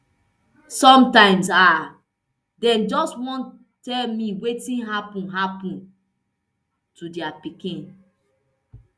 sometimes um dem just wan tell me wetin happun happun to dia pikin